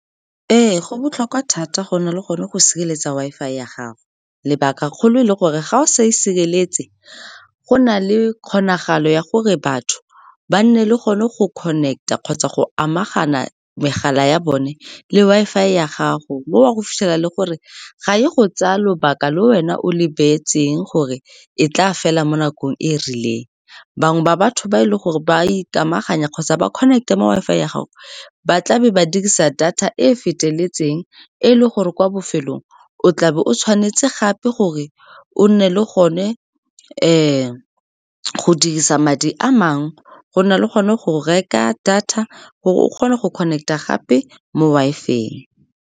Ee, go botlhokwa thata go nna le gone go sireletsa Wi-Fi ya gago, lebaka kgolo e le gore ga o sa e sireletse, go na le kgonagalo ya gore batho ba nne le gone go connect-a kgotsa go amagana megala ya bone le Wi-Fi ya gago. Mo wa go fitlhela le gore ga e go tsaya lobaka le wena o le beetseng gore e tla fela mo nakong e e rileng. Bangwe ba batho ba e leng gore ba ikamaganya kgotsa ba connect-a mo Wi-Fi ya gago, ba tlabe ba dirisa data e feteletseng, e le gore kwa bofelong o tla be o tshwanetse gape gore o nne le gone go dirisa madi a mangwe go na le gone go reka data gore o kgone go connect-a gape mo Wi-Fi-eng.